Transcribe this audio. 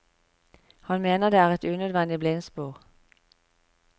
Han mener det er et unødvendig blindspor.